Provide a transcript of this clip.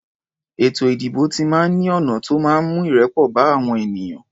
Ètò ìdìbò ti máa ń ní ọ̀nà tó máa ń mú ìrẹ́pọ̀ bá àwọn ènìyàn.